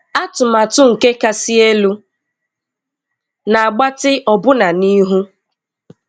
Atụmatụ nke Kasị Elu na-agbatị ọbụna n'ihu.